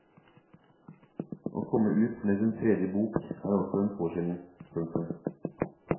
Å komme ut med sin tredje bok er også en påkjenning. punktum